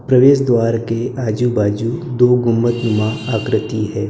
प्रवेश द्वार के आजू बाजू दो गुम्मदनुमा आकृति है।